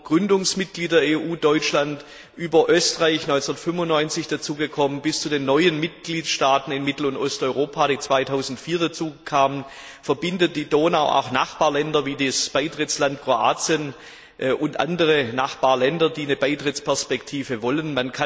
Vom Gründungsmitglied der EU Deutschland über Österreich, das 1995 dazukam, bis zu den neuen Mitgliedstaaten in Mittel und Osteuropa, die 2004 dazukamen, verbindet die Donau auch Nachbarländer wie das Beitrittsland Kroatien und andere Nachbarländer, die eine Beitrittsperspektive wollen.